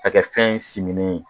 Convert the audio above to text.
A kɛ fɛn siminen ye